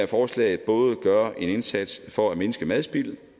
forslaget både gør en indsats for at mindske madspil og